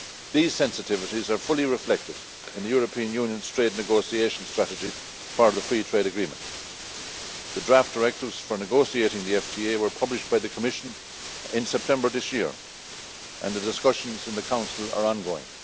These sensitivities are fully reflected in the European Union's trade negotiation strategy for the free trade agreement. The draft directives for negotiating the FTA were published by the Commission in September this year and the discussions in the Council are ongoing.